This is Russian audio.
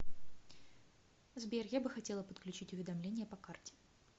сбер я бы хотела подключить уведомления по карте